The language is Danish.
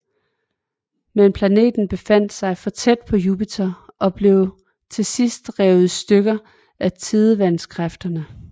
Men planeten befandt sig for tæt på Jupiter og blev til sidst revet i stykker af tidevandskræfterne